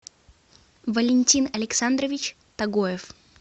валентин александрович тагоев